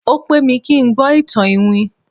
o pẹ mi kin gbó itan iwin